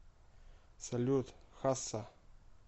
салют хасса